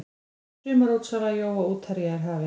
Sumarútsala jóa útherja er hafin.